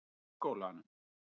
Grunnskólanum